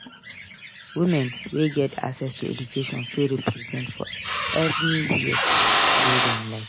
Women wey get access to education fit represent for anywhere wey dem like